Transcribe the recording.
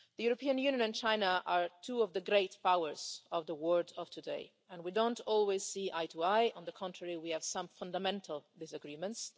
The European Union and China are two of the great powers of the world of today and we don't always see eye to eye. On the contrary, we have some fundamental disagreements.